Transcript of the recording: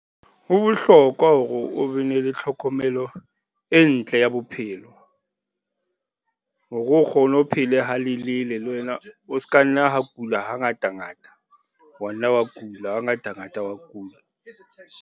Ho bohlokwa hore o be ne le tlhokomelo e ntle ya bophelo hore o kgone ho phele ha lelele le wena. O s'ka nna ha kula ha ngata ngata, wa nna wa kula, ha ngata ngata wa kula.